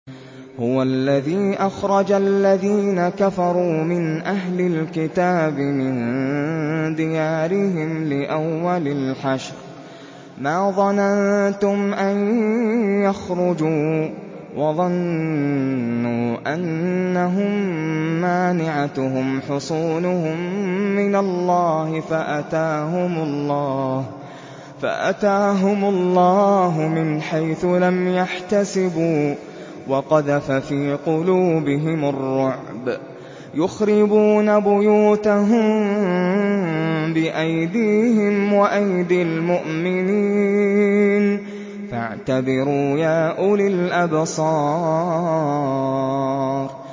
هُوَ الَّذِي أَخْرَجَ الَّذِينَ كَفَرُوا مِنْ أَهْلِ الْكِتَابِ مِن دِيَارِهِمْ لِأَوَّلِ الْحَشْرِ ۚ مَا ظَنَنتُمْ أَن يَخْرُجُوا ۖ وَظَنُّوا أَنَّهُم مَّانِعَتُهُمْ حُصُونُهُم مِّنَ اللَّهِ فَأَتَاهُمُ اللَّهُ مِنْ حَيْثُ لَمْ يَحْتَسِبُوا ۖ وَقَذَفَ فِي قُلُوبِهِمُ الرُّعْبَ ۚ يُخْرِبُونَ بُيُوتَهُم بِأَيْدِيهِمْ وَأَيْدِي الْمُؤْمِنِينَ فَاعْتَبِرُوا يَا أُولِي الْأَبْصَارِ